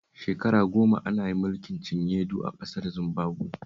Shekara goma ana yin mulkin cinye-du a ƙasar Zimbabuwe